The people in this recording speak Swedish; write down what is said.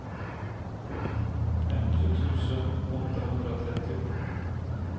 femtio tusen åttahundratrettio